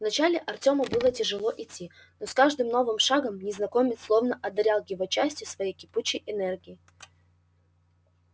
вначале артёму было тяжело идти но с каждым новым шагом незнакомец словно одарял его частью своей кипучей энергии